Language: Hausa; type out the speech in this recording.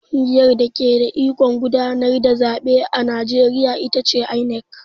Ƙungiyar dake da ikon gudanar da zaɓe a Najeriya ita ce INEC.